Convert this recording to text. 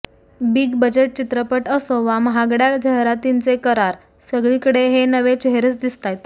big budget चित्रपट असो वा महागड्या जाहिरातींचे करार सगळीकडे हे नवे चेहरेच दिसतायत